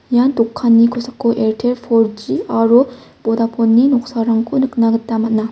ia dokanni kosako airtel four G aro vodafoneni noksarangko nikna gita man·a.